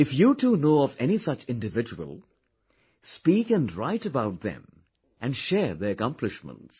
If you too know of any such individual, speak and write about them and share their accomplishments